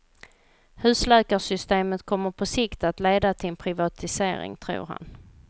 Husläkarsystemet kommer på sikt att leda till en privatisering, tror han.